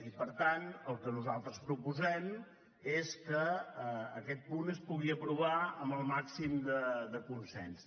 i per tant el que nosaltres proposem és que aquest punt es pugui aprovar amb el màxim de consens